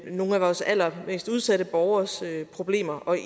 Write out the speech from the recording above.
nogle af vores allermest udsatte borgeres problemer